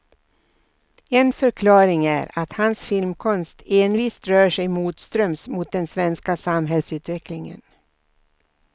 En förklaring är att hans filmkonst envist rört sig motströms mot den svenska samhällsutvecklingen.